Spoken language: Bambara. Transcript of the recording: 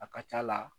A ka c'a la